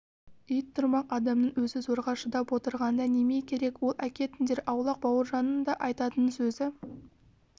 ит тұрмақ адамның өзі зорға шыдап отырғанда неме керек ол әкетіңдер аулақ бауыржанның да айтатын сөзі